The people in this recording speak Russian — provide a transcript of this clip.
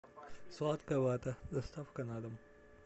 сладкая вата доставка на дом